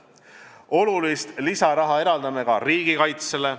Olulist lisaraha eraldame ka riigikaitsele.